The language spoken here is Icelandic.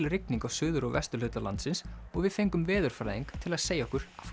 rigning á suður og vesturhluta landsins og við fengum veðurfræðing til að segja okkur